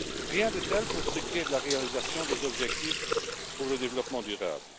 Rien de tel pour ce qui est de la réalisation des objectifs pour le développement durable.